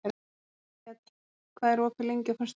Vékell, hvað er opið lengi á föstudaginn?